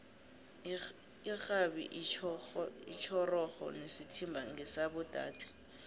irhabi itjhorhoro nesithimba ngesabo dade